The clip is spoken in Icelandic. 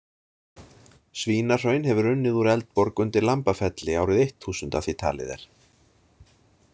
Svínahraun hefur runnið úr Eldborg undir Lambafelli, árið eitt þúsund að því talið er.